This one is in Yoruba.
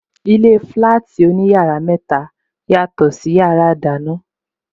Ilé flati oní yàrá mẹta, yàtò sí yàrá ìdáná.